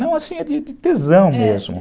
Não, assim, é é de tesão mesmo.